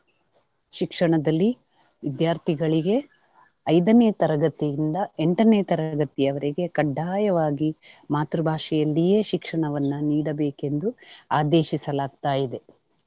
ಶಿಕ್ಷಣದಲ್ಲಿ ವಿದ್ಯಾರ್ಥಿಗಳಿಗೆ ಐದನೇ ತರಗತಿಯಿಂದ ಎಂಟನೇ ತರಗತಿಯವರೆಗೆ ಖಡ್ಡಾಯವಾಗಿ ಮಾತೃ ಭಾಷೆಯಲ್ಲಿಯೇ ಶಿಕ್ಷಣವನ್ನ ನೀಡಬೇಕೆಂದು ಆದೇಶಿಸಲಾಗ್ತಾಯಿದೆ.